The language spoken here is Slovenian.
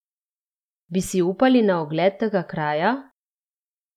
Bi si upali na ogled tega kraja?